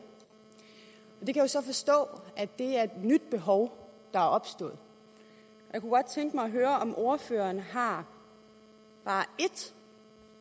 og det kan jeg jo så forstå er et nyt behov der er opstået jeg kunne godt tænke mig at høre om ordføreren har bare ét